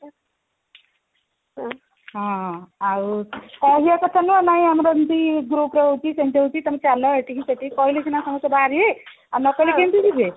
ହଁ ଆଉ କହିବା କଥା ନୁହଁ ନାଇଁ ଆମର ଏମିତି groupର ହଉଛି ସେମିତି ହଉଛି ତମେ ଚାଲ ଏଇଠିକି ସେଇଠିକି କହିଲେ ସିନା ସମସ୍ତେ ବାହାରିବେ ଆଉ ନକହିଲେ କେମିତି ଯିବେ